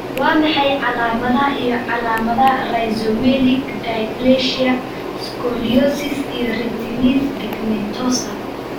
Waa maxay calaamadaha iyo calaamadaha Rhizomelic dysplasia, scoliosis, iyo retinitis pigmentosa?